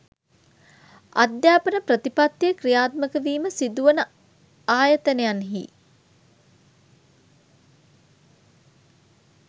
අධ්‍යාපන ප්‍රතිපත්තිය ක්‍රියාත්මක වීම සිදුවන ආයතනයන්හි